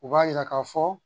U b'a yira k'a fɔ